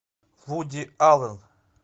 вуди аллен